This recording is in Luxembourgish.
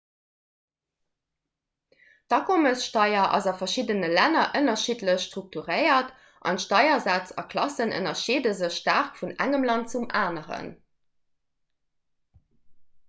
d'akommessteier ass a verschiddene länner ënnerschiddlech strukturéiert an d'steiersätz a klassen ënnerscheede sech staark vun engem land zum aneren